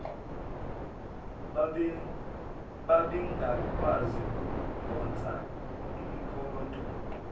babengakwazi ukuphonsa imikhonto